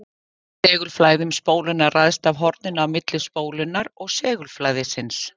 Segulflæði um spóluna ræðst af horninu á milli spólunnar og segulflæðisins.